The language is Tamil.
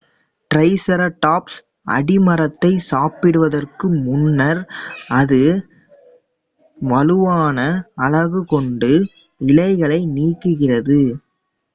டிரைசெராடாப்ஸ் அடிமரத்தை சாப்பிடுவதற்கு முன்னர் அதன் வலுவான அலகு கொண்டு இலைகளை நீக்குகிறது